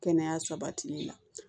Kɛnɛya sabatili la